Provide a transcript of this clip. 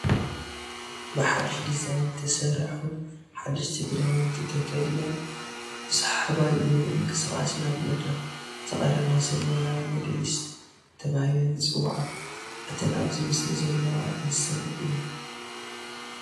ብሓዱሽ ዲዛይን ንዝተሰርሑ ሓደሽቲ ክዳውንቲ ተኺዲነን ብሰሓባይ ምንቅስቓስ ናብ መድረኽ ዘቕርባ ሰብ ሞያ ሞዴሊስት ተባሂለን ይፅውዓ፡፡ እተን ኣብዚ ምስሊ ዘለዋ ንሰን እየን፡፡